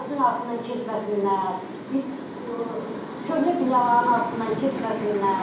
Ağacın altından keçməsinlər, köhnə binaların altından keçməsinlər.